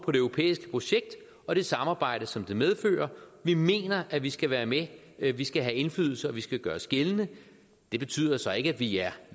på det europæiske projekt og det samarbejde som det medfører vi mener at vi skal være med at vi skal have indflydelse og at vi skal gøre os gældende det betyder så ikke at vi er